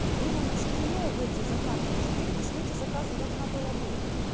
было учтено в эти заказы то есть перекись в эти заказы должна была быть